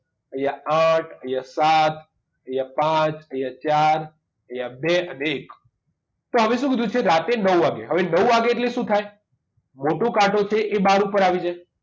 અહીંયા આઠ અહીંયા સાત અહીંયા પાંચ અહીંયા ચાર અહીંયા બે અને એક તો હવે શું કીધું છે રાત્રે નવ વાગે હવે નવ વાગે એટલે શું થાય મોટો કાંટો છે એ બાર ઉપર આવી જાય